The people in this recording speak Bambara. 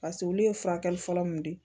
Paseke olu ye furakɛli fɔlɔ mun di